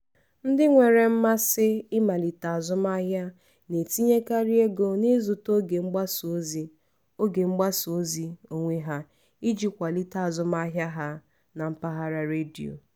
ndị nwere mmasị ịmalite azụmahịa na-etinyekarị ego n’ịzụta oge mgbasa ozi oge mgbasa ozi onwe ha iji kwalite azụmahịa ha na mpaghara redio.